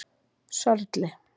Sörli